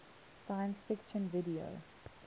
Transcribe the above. science fiction video